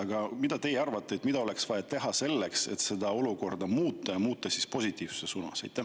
Aga mida teie arvate, mida oleks vaja teha selleks, et seda olukorda muuta, just positiivses suunas?